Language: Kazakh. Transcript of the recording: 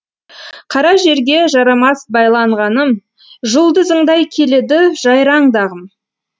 қара жерге жарамас байланғаным жұлдызыңдай келеді жайраңдағым